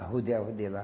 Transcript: Arrodeava de lá.